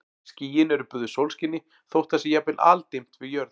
Skýin eru böðuð sólskini þótt það sé jafnvel aldimmt við jörð.